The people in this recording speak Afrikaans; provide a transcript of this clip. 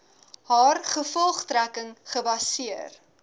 haar gevolgtrekking gebaseer